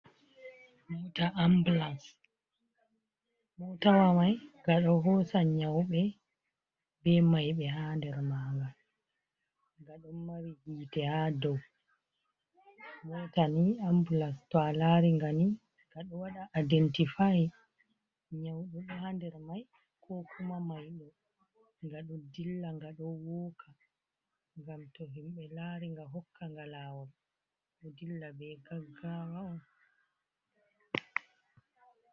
Mota ambulas motawa mai ngaɗo hosan nyauɓe be maiɓe ha nder maga, nga ɗon mari hiite ha dou, mota ni ambulas to a lari ngaɗo waɗa aidentifai nyauɗo ɗo ha nder mai, ko kuma maido, nga do dilla ngaɗo woka ngam to himɓe lari nga hokka nga lawol do dilla be gaggawa on.